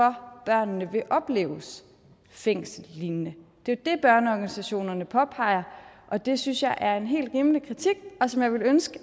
for børnene vil opleves fængselslignende det er det børneorganisationerne påpeger og det synes jeg er en helt rimelig kritik og som jeg ville ønske